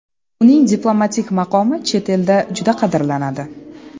Uning diplomatik maqomi chet elda juda qadrlanadi.